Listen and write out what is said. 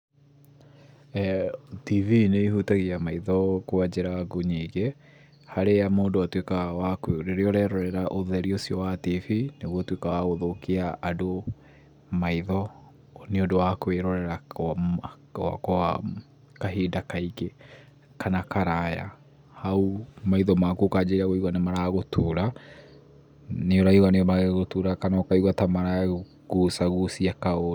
TV nĩĩhutagia maitho kwa njĩra ngũ nyingĩ, harĩa mũndũ harĩa mũndũ atuĩkaga wakũ, rĩrĩa mũndũ arerorera ũtheri ũcio wa TV, nĩũtuĩkaga wa gũthũkia andũ maitho nĩũndũ wa kwĩrorera kwa okwa kahinda kaingĩ kana karaya, hau ũkanjĩrĩria kũigua maitho maku nĩmaragũtura nĩũraigua nĩmaragũtura kana ũkaigua nĩmara kũgucagucia kaũndũ.